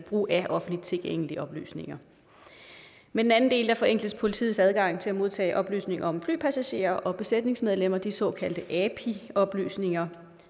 brug af offentligt tilgængelige oplysninger med den anden del forenkles politiets adgang til at modtage oplysninger om flypassagerer og besætningsmedlemmer de såkaldte api oplysninger